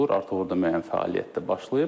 Artıq orada müəyyən fəaliyyət də başlayıb.